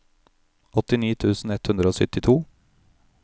åttini tusen ett hundre og syttito